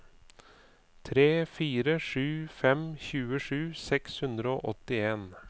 tre fire sju fem tjuesju seks hundre og åttien